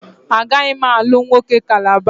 Agaghị m alụ nwoke Calabar